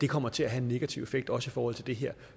kommer til at have en negativ effekt også i forhold til det her